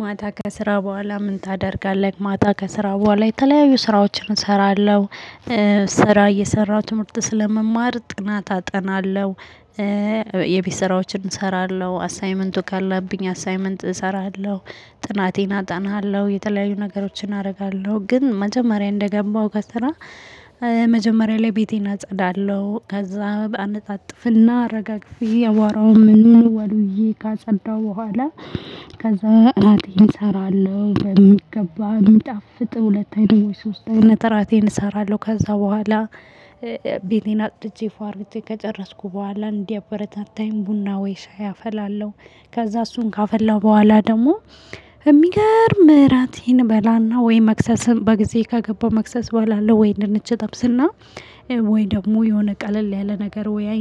ማታ ከስራ በኋላ ምን ታደርጋለህ? ማታ ከስራ በኋላ የተለያዩ ስራዎችን እሰራለሁ። ስራ እየሰራሁ ትምህርት ስለመማር ጥናት አጠናለሁ። የቤት ስራዎችን እሰራለሁ አሳይመንቱ ካለብኝ አሳይመንት እሰራለሁ ጥናቴን አጠናለሁ የተለያዩ ነገሮችን አደርጋለሁ። ግን መጀመሪያ እንደገባሁ ከስራ። መጀመሪያ ላይ ቤቴን አጸዳለሁ ከዛ አነጻጽፍና ረጋግፊ አቦራውም ምንምን። ካጸዳው በኋላ ከዛ እራቴን እሰራለሁ። በሚገባ ምጣፍጥ ሁለት አይነት ሶስት አይነት እራቴን እሰራለሁ ከዛ በኋላ። ቤቴን አጽድቼ ፎ አድርጌ ከጨረስኩ በኋላ እንዲያበረታታኝ ቡና ወይ ሻይ አፈላለሁ። ከዛ እሱን ካፈላው በኋላ ደግሞ። የሚገርም ምህረቴን በላና ወይ መክሰስም በጊዜ ከገባው መክሰስ በኋላ ወይ እንደነች እጠብስና። ወይ ደግሞ የሆነ ቀለል ያለ ነገር ወይ።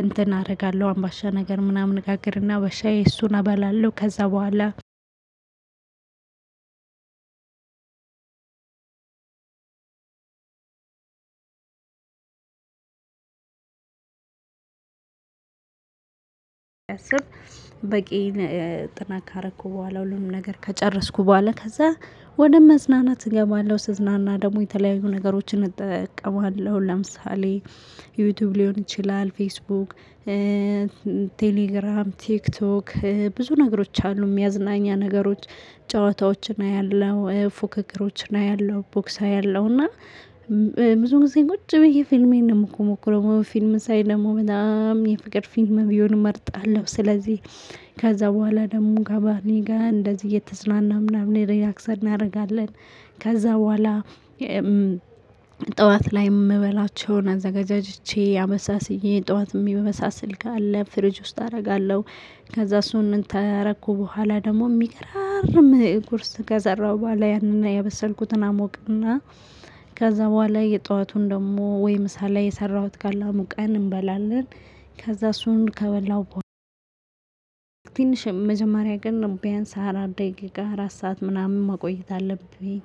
እንትን አደርጋለሁ አምባሻ ነገር ምናምን እጋግርና በሻዬ እሱን አበላለሁ ከዛ በኋላ። በቂን ጥናት ካረኩ በኋላ ሁሉም ነገር ከጨረስኩ በኋላ ከዛ ወደ መዝናናት እገባለሁ። ስዝናና ደግሞ የተለያዩ ነገሮችን እጠቀማለሁ ለምሳሌ ዩቲዩብ ሊሆን ይችላል ፌስቡክ። ቴሌግራም ቲክቶክ ብዙ ነገሮች አሉ መዝናኛ ነገሮች። ጨዋታዎችን አያለሁ ፉክክሮችን አያለሁ ቦክ አያለሁ እና። ብዙ ጊዜ ቁጭ ብዬ ፊልሜን ነው የምኮመኩመው ፊልም ሳይ ደግሞ በጣም የፍቅር ፊልም ቢሆን እመርጣለሁ። ስለዚህ ከዛ በኋላ ደግሞ ከባሌ ጋር እንደዚህ እየተዝናና ምናምን ሪላክስ እናደርጋለን። ከዛ በኋላ ጥዋት ላይ የምበላቸውን አዘጋጅቼ አመሳስዬ ጠዋት ሚበሳሰል ካለ ፍሪጅ ውስጥ አደርጋለሁ። ከዛ እሱን ታረኩ በኋላ ደግሞ የሚገራርም ቁርስ ከሰራሁ በኋላ ያንን ያበሰልኩትን አሞቅና። ከዛ በኋላ የጠዋቱን ደግሞ ወይም ምሳ ላይ የሰራሁት አሙቀን እንበላለን። ከዛ እሱን ከበላሁ በኃላ። መጀመሪያ ግን ቢያንስ አራት ደቂቃ አራት ሰዓት ምናምን መቆየት አለብኝ።